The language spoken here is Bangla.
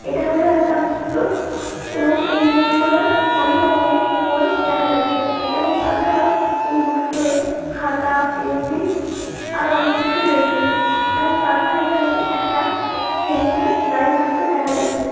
এটা হলো একটা বুক স্টোর এবং এই বুক স্টোর - এ অনেক রকমের বই দেখা যাচ্ছে এবং তাছাড়া এই বুক স্টোর - এ খাতা পেন্সিল আর ও অনেক কিছু রয়েছে এবং তাছাড়া এখানে একটা ছেলেকে দাঁড়িয়ে থাকতে দেখা যাচ্ছে।